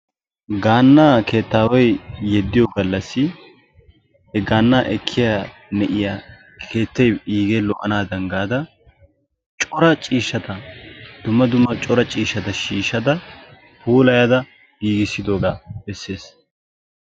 Gaana keettaaway yeddiyo galassi he gaanaa ekkiyara keettay iigee lo'anaadan gaada cora ciishshata shiishada puulayada wotidoogaa bessees.